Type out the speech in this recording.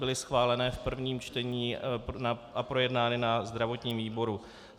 Byly schváleny v prvním čtení a projednány ve zdravotním výboru.